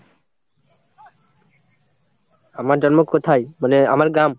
আমার জন্ম কোথায়? মানে আমার গ্রাম?